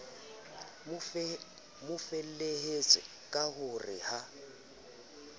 mofelehetse ka ho re ha